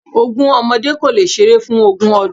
Ogún ọmọdé kò lè seré fún ogún ọdún